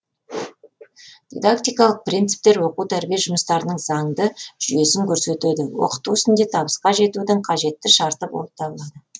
дидактикалық принциптер оқу тәрбие жұмыстарының заңды жүйесін көрсетеді оқыту ісінде табысқа жетудің қажетті шарты болып табылады